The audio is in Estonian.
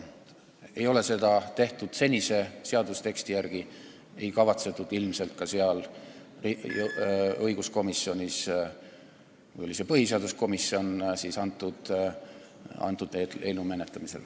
Seda ei ole tehtud senise seadusteksti järgi ega kavatsetud seda ilmselt teha ka põhiseaduskomisjonis eelnõu menetlemisel.